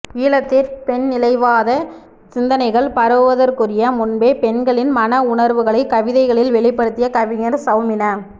ஈழத்தில் பெண்நிலைவாதச் சிந்தனைகள் பரவுவதற்ககுரிய முன்பே பெண்களின் மன உணர்வுகளைக் கவிதைகளில் வெளிப்படுத்திய கவிஞர் சௌமின